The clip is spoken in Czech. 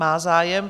Má zájem.